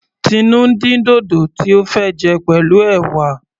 Tinu ń dín dòdò tí ó fẹ́ jẹ pẹ̀lú ẹ̀wà.